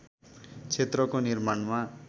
क्षेत्रको निर्माणमा